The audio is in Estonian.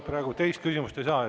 Praegu teist küsimust ei saa.